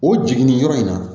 O jiginnin yɔrɔ in na